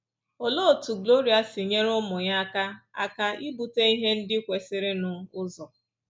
Olee otú Gloria si nyere ụmụ ya aka aka ibute ihe ndị kwesịrịnụ ụzọ?